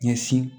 Ɲɛsin